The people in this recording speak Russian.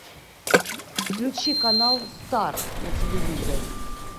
включи канал старт на телевизоре